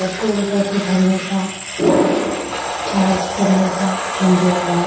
Petrol भरने का charge करने का आप्शन दिया हुआ है ।